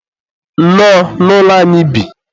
nnọọ, n'ụlọ anyị bi.